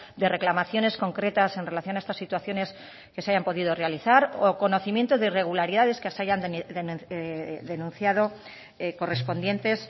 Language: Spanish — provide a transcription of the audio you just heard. de reclamaciones concretas en relación a estas situaciones que se hayan podido realizar o conocimiento de irregularidades que se hayan denunciado correspondientes